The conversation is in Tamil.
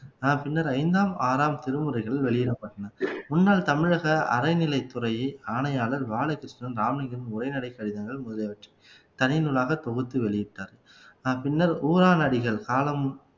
பின்னர் ஐந்தாம் ஆறாம் திருமுறைகள் வெளியிடப்பட்டன முன்னாள் தமிழக அறநிலைத்துறை ஆணையாளர் பாலகிருஷ்ண இராமலிங்க உரைநடை கடிதங்கள் முதலியவற்றை தனிநூலாக தொகுத்து வெளியிட்டார் பின்னர் ஊரான் அடிகள் காலம்